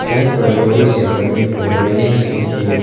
Side पर लोहे से बने हुए रेलिंग्स भी है।